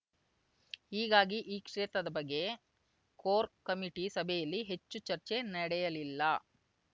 ಹೀಗಾಗಿ ಈ ಕ್ಷೇತ್ರದ ಬಗ್ಗೆ ಕೋರ್ ಕಮಿಟಿ ಸಭೆಯಲ್ಲಿ ಹೆಚ್ಚು ಚರ್ಚೆ ನಡೆಯಲಿಲ್ಲ